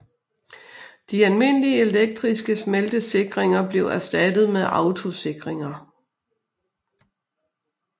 De almindelige elektriske smeltesikringer blev erstattet med autosikringer